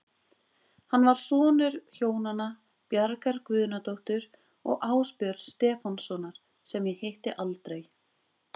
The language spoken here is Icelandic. Hann var sonur hjónanna Bjargar Guðnadóttur og Ásbjörns Stefánssonar, sem ég hitti aldrei.